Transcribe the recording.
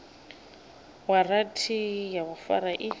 waranthi ya u fara i